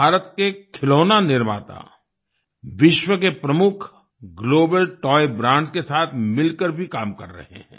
भारत के खिलौना निर्माता विश्व के प्रमुख ग्लोबल तोय ब्रांड्स के साथ मिलकर भी काम कर रहे हैं